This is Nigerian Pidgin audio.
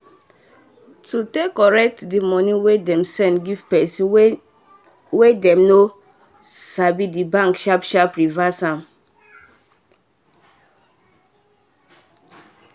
to take correct the money wey dem send give pesin wey dem no sabithe bank sharpaly reverse am.